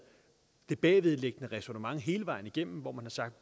det bagvedliggende ræsonnement hele vejen igennem hvor man har sagt